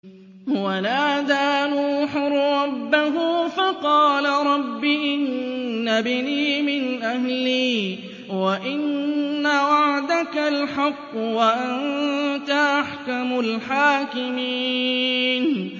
وَنَادَىٰ نُوحٌ رَّبَّهُ فَقَالَ رَبِّ إِنَّ ابْنِي مِنْ أَهْلِي وَإِنَّ وَعْدَكَ الْحَقُّ وَأَنتَ أَحْكَمُ الْحَاكِمِينَ